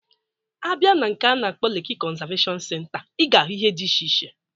A bịa na nke a na-akpọ Leki konzaveshon senta, Ị ga-ahụ ihe diche iche.